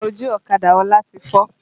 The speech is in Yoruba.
Iná ojú ọ̀kadà Ọlá ti fọ́